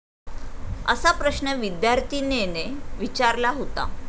असा प्रश्न विद्यार्थीनेने विचारला होता.